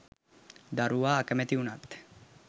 දරුවා අකැමැති වුනත්